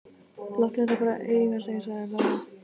Láttu þetta bara eiga sig, sagði Lóa.